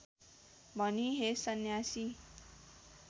भनी हे सन्यासी